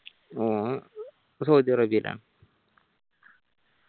ഓൻ സൗദി അറേബ്യലാണ്